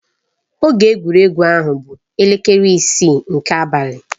Oge egwuregwu ahụ bụ elekere isii nke abalị.